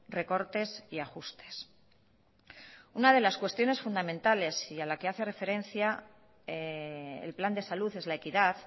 recortes y ajustes una de las cuestiones fundamentales y a la que hace referencia el plan de salud es la equidad